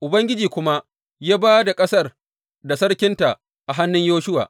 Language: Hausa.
Ubangiji kuma ya ba da ƙasar da sarkinta a hannun Yoshuwa.